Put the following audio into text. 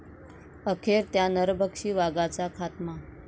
अखेर 'त्या' नरभक्षी वाघाचा खात्मा